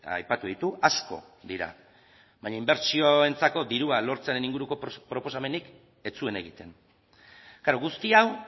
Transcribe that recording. aipatu ditu asko dira baina inbertsioentzako dirua lortzearen inguruko proposamenik ez zuen egiten guzti hau